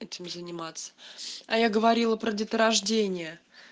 этим заниматься а я говорила про деторождение